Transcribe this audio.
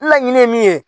Laɲini ye min ye